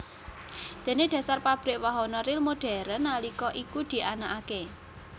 Déné dhasar pabrik wahana ril modern nalika iku dianakaké